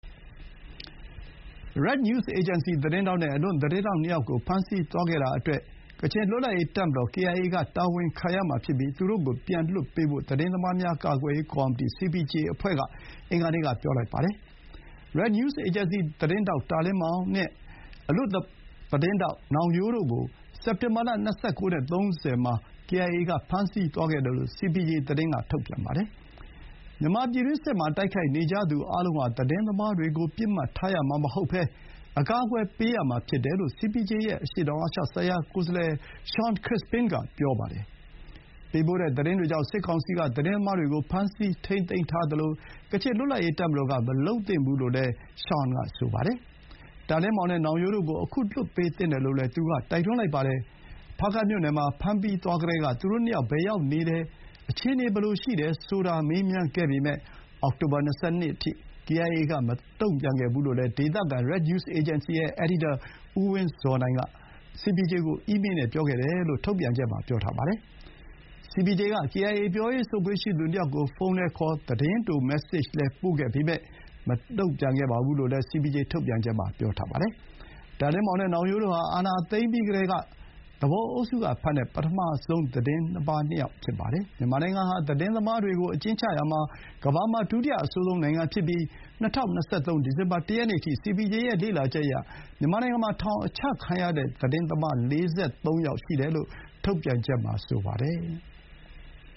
Red News Agency သတင်းထောက်နဲ့ အလွတ်သတင်းထောက် ၂ ယောက်ကို ဖမ်းဆီးသွားခဲ့တာ အတွက် ကချင်လွတ်လပ်ရေး တပ်မတော် ကေအိုင်အေက တာဝန်ခံရမှာဖြစ်ပြီး သူတို့ကို ပြန်လွှတ်ပေးဖို့ သတင်းသမားများ ကာကွယ်ရေး ကော်မီတီ စီပီဂျေအဖွဲ့က အင်္ဂါနေ့က ပြောလိုက်ပါတယ်။ Red News Agency သတင်းထောက် တာလင်းမောင် (Ta Lin Maung) နဲ့ အလွတ်သတင်းထောက် နောင်ရိုးတို့ ကို စက်တင်ဘာလ ၂၉ နဲ့ ၃၀ မှာ ကေအိုင်အေ က ဖမ်းဆီးသွားခဲ့တယ်လို့ စီပီဂျေ က သတင်း ထုတ်ပြန်ပါတယ်။ မြန်မာပြည်တွင်းစစ်မှာ တိုက်ခိုက်နေကြသူ အားလုံးဟာ သတင်းသမားတွေကို ပစ်မှတ်ထားရမှာ မဟုတ်ဘဲ အကာအကွယ်ပေးရမှာ ဖြစ်တယ်လို့ စီပီဂျေ ရဲ့ အရှေ့တောင် အာရှဆိုင်ရာကိုယ်စားလှယ် Shawn Crispin က ပြောပါတယ်။ ပေးပို့တဲ့ သတင်းတွေကြောင့် စစ်ကောင်စီက သတင်းသမားတွေကို ဖမ်းဆီးထိန်းသိမ်းသလို ကချင်လွတ်လပ်ရေး တပ်မတော်က မလုပ်သင့်ဘူးလို့လည်း ရှောင်န် က ဆိုပါတယ်။ တာလင်းမောင်နဲ့ နောင်ရိုးတို့ကို အခု လွှတ်ပေးသင့်တယ်လို့ သူက တိုက်တွန်းလိုက်ပါတယ်။ ဖားကန့်မြို့နယ်မှာ ဖမ်းသွားပြီးကတည်းက သူတို့ နှစ်ယောက် ဘယ်ရောက်နေတယ်၊ အခြေအနေ ဘယ်လိုရှိတယ် ဆိုတာ မေးမြန်းခဲ့ပေမဲ့ အောက်တိုဘာ ၂၂ အထိ ကေအိုင်အေက မတုံ့ပြန်ခဲ့ဘူး လို့ ဒေသခံ Red News Agency ရဲ့ အယ်ဒီတာ ဦး ဝင်းဇော်နိုင်က စီပီဂျေကို အီးမေး နဲ့ ပြောခဲ့တယ်လို့ ထုတ်ပြန်ချက်မှာ ဖော်ပြပါတယ်။ စီပီဂျေက ကေအိုင်အေ ပြောရေးဆိုခွင့် ရှိသူ ၂ ယောက်ကို ဖုန်းလည်းခေါ် သတင်းတို မက်ဆေ့ဂျလည်း ပို့ခဲ့ပေမဲ့ မတုံ့ပြန်ခဲ့ဘူးလို့လည်း စီပီဂျေ ထုတ်ပြန်ချက်မှာ ပြောပါတယ်။ တာလင်းမောင် နဲ့ နောင်ရိုးတို့ဟာ အာဏာသိမ်းပြီး ကတည်းက သူပုန်အုပ်စု က ဖမ်းတဲ့ ပထမဆုံး သတင်းသမား ၂ ယောက် ဖြစ်ကြပါတယ်။ မြန်မာနိုင်ငံဟာ သတင်းသမားတွေကို အကျဥ်းချရာမှာ ကမ္ဘာမှာ ဒုတိယ အဆိုးဆုံး နိုင်ငံဖြစ်ပြီး၊ ၂၀၂၃ ဒီဇင်ဘာ ၁ ရက်နေ့အထိ စီပီဂျေရဲ့ လေ့လာချက်အရ မြန်မာနိုင်ငံမှာ ထောင်အချခံရတဲ့ သတင်းသမား ၄၃ ယောက် ရှိတယ်လို့ ထုတ်ပြန်ချက်မှာ ပြောပါတယ်။